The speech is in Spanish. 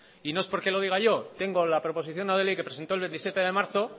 y no es porque lo diga yo tengo la proposición no de ley que presentó el veintisiete de marzo